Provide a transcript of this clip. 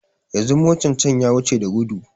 Yanzu motan can ya wuce da gudu